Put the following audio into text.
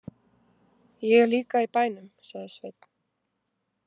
Ég er líka í bænum, sagði Sveinn.